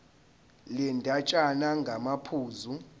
le ndatshana ngamaphuzu